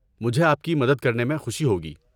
میں آپ کی مدد کرنے میں مجھے خوشی ہوگی۔